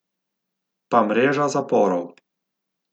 Pa mreža zaporov.